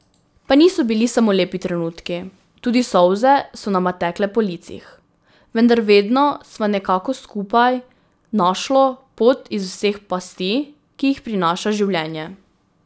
Pa niso bili samo lepi trenutki, tudi solze so nama tekle po licih, vendar vedno sva nekako skupaj našlo pot iz vseh pasti, ki jih prinaša življenje.